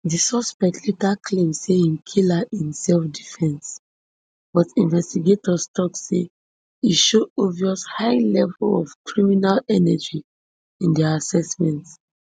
di suspect later claim say im kill her in selfdefence but investigators tok say e show obvious high level of criminal energy in dia assessment